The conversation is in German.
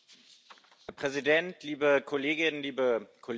Herr Präsident, liebe Kolleginnen, liebe Kollegen!